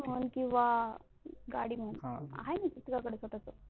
मन किवा गाडी मन आहे नाही का तुझ्या कड स्वताची